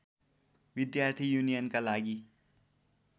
विद्यार्थी युनियनका लागि